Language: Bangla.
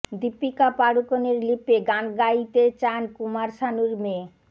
দীপিকা পাড়ুকোনের লিপে গান গাইতে চান কুমার শানুর মেয়ে